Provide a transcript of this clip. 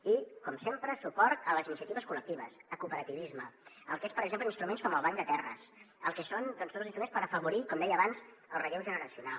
i com sempre suport a les iniciatives col·lectives al cooperativisme al que són per exemple instruments com el banc de terres al que són instruments per afavorir com deia abans el relleu generacional